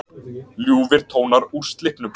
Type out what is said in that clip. Ljúfir tónar úr Slippnum